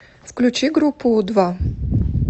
включи группу у два